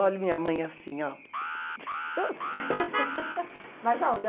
Olho, a minha mãe assim, ó. Mas aonde?